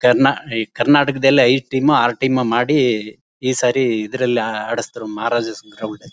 ಕರ್ನಾ ಈ ಕರ್ನಾಟಕದಲ್ಲಿ ಐದು ಟೀಮ್ ಓ ಆರು ಟೀಮ್ ಓ ಮಾಡಿ ಈ ಸಾರಿ ಇದ್ರಲ್ಲಿ ಆಡಿಸ್ತಾರೆ ಮಹಾರಾಜಸ್ ಗ್ರೌಂಡ್ ಲ್ಲಿ.